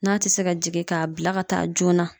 N'a tɛ se ka jigin k'a bila ka taa joona.